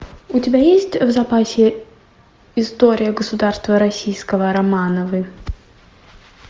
у тебя есть в запасе история государства российского романовы